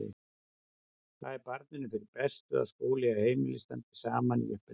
Það er barninu fyrir bestu að skóli og heimili standi saman í uppeldinu.